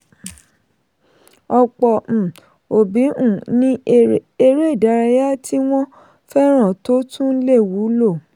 ọ̀pọ̀ um òbí um ní eré ìdárayá tí wọ́n fẹ́ràn tó tún lè wúlò.